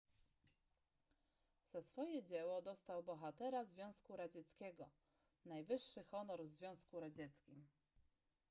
za swoje dzieło dostał bohatera związku radzieckiego najwyższy honor w związku radzieckim